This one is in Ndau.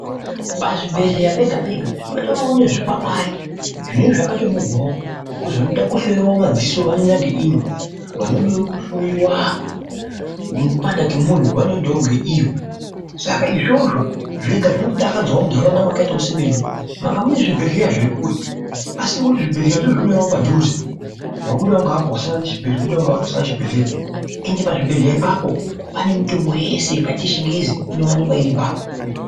Pazvibhedhleya pega pega patoriwo nezvikwangwari zvinenge zvakatonyorwawo kuti vanoda kuhloyiwa madziso vanoendaa ngeino vanoda kuhloyiwa mipanda kwemwoyo vanoenda ngeino izvozvo zvega zvinondodakadzawo muntaraunda dzakaita sedzedu mwanga mune zvibhedhlera zvekure, zvibhedhlera takuzvionawo padhuze wabuda ngeapa wosangana nezvibhedhleya wabudawo ngeapa wosangana nezvibhedhleya ende pazvibhedhleya ipapo pane mitombo yese yakaita yechingezi inowanikwa ipapo.